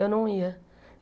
Eu não ia.